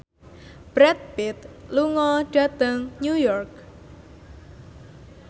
Brad Pitt lunga dhateng New York